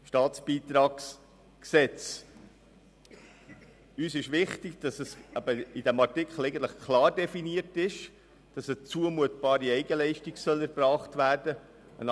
Uns ist es wichtig, dass in diesem Artikel klar definiert ist, dass eine zumutbare Eigenleistung erbracht werden soll.